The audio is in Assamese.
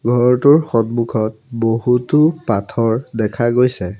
ঘৰটোৰ সন্মুখত বহুতো পাথৰ দেখা গৈছে।